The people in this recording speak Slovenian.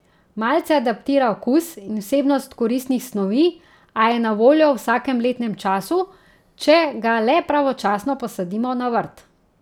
Malce adaptira okus in vsebnost koristnih snovi, a je na voljo v vsakem letnem času, če ga le pravočasno posadimo na vrt.